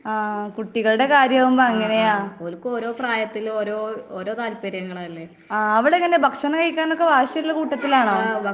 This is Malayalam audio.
ആഹ് കുട്ടികളുടെ കാര്യം ആവുമ്പൊ അങ്ങനെയാ. ആഹ് അവളെങ്ങനെ ഭക്ഷണം കഴിക്കാനൊക്കെ വാശിയുള്ള കൂട്ടത്തിലാണോ?